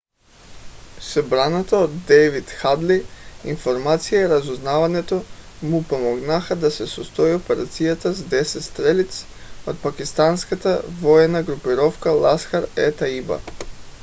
събраната от дейвид хадли информация и разузнаването му помогнаха да се състои операцията с 10 стрелиц от пакистанската военна групировка ласкхар-е-тайба